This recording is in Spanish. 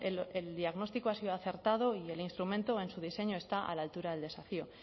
el diagnóstico ha sido acertado y el instrumento en su diseño está a la altura del desafío